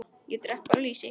Ég drekk bara lýsi!